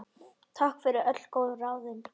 Takk fyrir öll góðu ráðin.